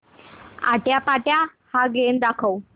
आट्यापाट्या हा गेम दाखव